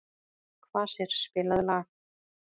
Kvasir, spilaðu lag.